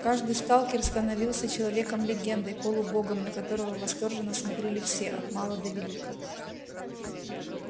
каждый сталкер становился человеком-легендой полубогом на которого восторженно смотрели все от мала до велика